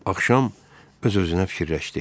Axşam öz-özünə fikirləşdi.